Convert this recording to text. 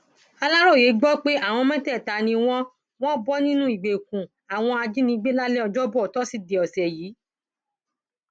aláròye gbọ pé àwọn mẹtẹẹta ni wọn wọn bọ nínú ìgbèkùn àwọn ajínigbé lálẹ ọjọbọ tọsídẹẹ ọsẹ yìí